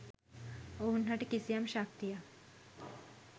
ඔවුන් හට කිසියම් ශක්තියක්